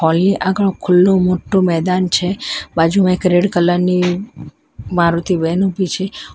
અહીં આગળ ખુલ્લો મોટો મેદાન છે બાજુમાં એક રેડ કલર ની મારુતિ વેન ઉભી છે.